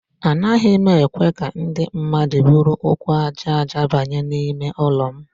Anaghị ekwe ka ndị mmadụ buru ụkwụ aja aja banye n'ime ụlọ.